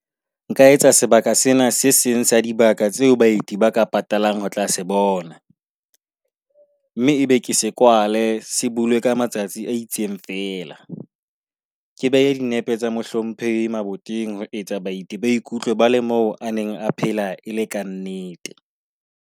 Nka etsa sebaka sena se seng sa dibaka tseo baeti ba ka patalang ho tla se bona, mme ebe ke se kwale. Se bulwe ka matsatsi a itseng feela. Ke behe dinepe tsa mohlomphehi maboteng ho etsa baeti ba ikutlwe ba le moo a neng a phela e le ka nnete.